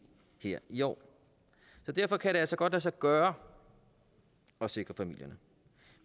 i år derfor kan det altså godt lade sig gøre at sikre familierne